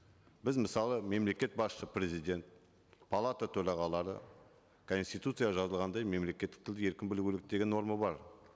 біз мысалы мемлекет басшысы президент палата төрағалары конституция жазылғандай мемлекеттік тілді еркін білу керек деген норма бар